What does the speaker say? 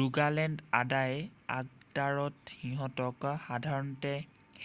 Rogaland আদায় আগদাৰত সিহঁতক সাধাৰণতে